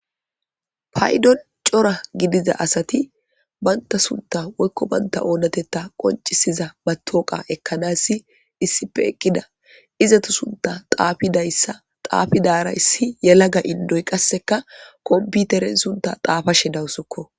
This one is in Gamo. Paydon cora gidiza asati baynta sunta woykko baynta oonatetta qoncisiza ba tooqa ekkanassi issipe eqqida izatu sunta xaafidayssa xaafidaara issi yelaga indoy qasseka komputeren sunta xaafa shedawusokko